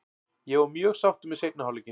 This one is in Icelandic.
Ég var mjög sátt með seinni hálfleikinn.